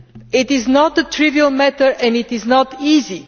It is not a trivial matter and it is not easy.